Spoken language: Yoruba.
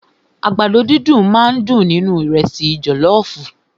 Àgbàdo dídùn máà ń dùn nínú ìrẹ́sì jọlọọfu.